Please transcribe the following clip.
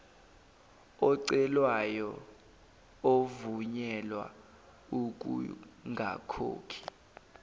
ocelayo evunyelwa ukungakhokhi